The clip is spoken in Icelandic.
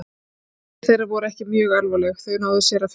Meiðsli þeirra voru ekki mjög alvarleg og þau náðu sér að fullu.